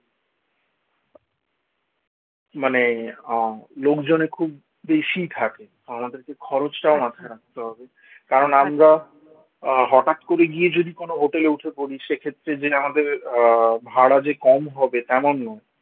মানে আহ লোকজনে খুব বেশি থাকে আমাদেরকে খরচটাও মাথায় রাখতে হবে, কারণ আমরা আহ হঠাৎ করে গিয়ে যদি কোন hotel এ উঠে পড়ি সে ক্ষেত্রে যে আমাদের আহ ভাড়া যে কম হবে তেমন নয়